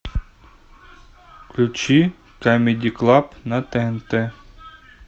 включи камеди клаб на тнт